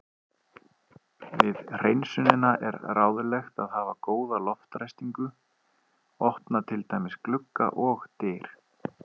Við hreinsunina er ráðlegt að hafa góða loftræstingu, opna til dæmis glugga og dyr.